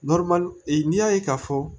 e y'a ye k'a fɔ